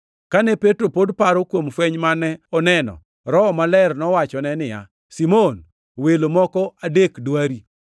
Kane Petro pod paro kuom fweny mane oneno, Roho Maler nowachone niya, “Simon, welo moko adek dwari.